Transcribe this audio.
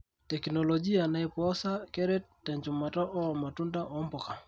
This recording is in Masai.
Tekinologia naipoosa keret tenchumata oo matunda ombuka.